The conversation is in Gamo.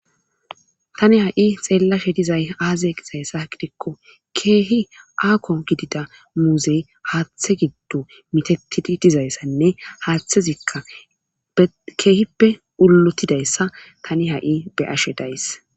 tani ha7i xeellashe dizay aazee gizaysa gidikko keehi aako gidida muuzey haathe giddo mitatidi dizayssanne haaththezikka keehippe ullotidayssa tani ha7i be'ashe days